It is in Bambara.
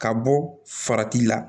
Ka bɔ farati la